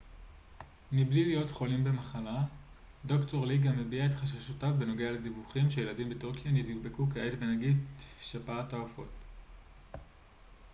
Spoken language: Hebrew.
"ד""ר לי גם הביע את חששותיו בנוגע לדיווחים שילדים בטורקיה נדבקו כעת בנגיף שפעת העופות a h5n1 מבלי להיות חולים במחלה.